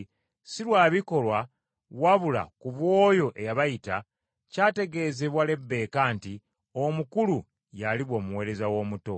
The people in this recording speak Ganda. si lwa bikolwa wabula ku bw’oyo eyabayita, kyategeezebwa Lebbeeka nti, “Omukulu y’aliba omuweereza w’omuto.”